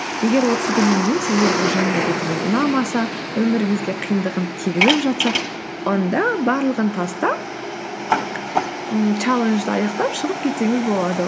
егер отыз күннен кейін сізге бұл жаңа әдетіңіз ұнамаса өміріңізге қиындығын тигізіп жатса онда барлығын тастап ммм чалленджді аяқтап шығып кетсеңіз болады